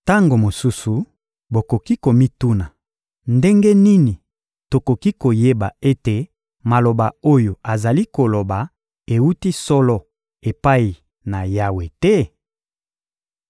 Tango mosusu bokoki komituna: ‹Ndenge nini tokoki koyeba ete maloba oyo azali koloba ewuti solo epai na Yawe te?›